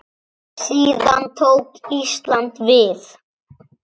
Síðan tók Ísland við.